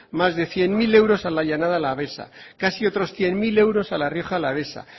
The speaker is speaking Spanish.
más de cien mil euros a la llanada alavesa casi otros cien mil euros a la rioja alavesa